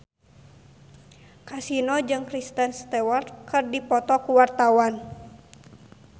Kasino jeung Kristen Stewart keur dipoto ku wartawan